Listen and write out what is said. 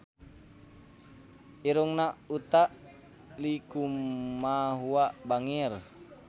Irungna Utha Likumahua bangir